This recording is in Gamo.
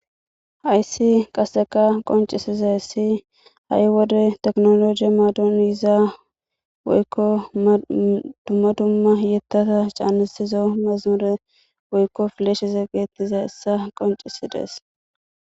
Hayssi qasseka qoncisiza essi ha'i wode teknologie maadon yizaa woykko dumma dumma hiyettata caanesizo mezamure woykko fileshize geettize essa qoncisidees.